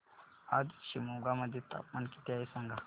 आज शिमोगा मध्ये तापमान किती आहे सांगा